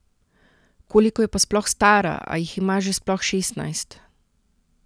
Koliko je pa sploh stara, a jih ima že sploh šestnajst?